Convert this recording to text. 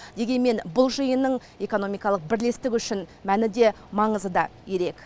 дегенмен бұд жиынның экономикалық бірлестік үшін мәні де маңызы да ерек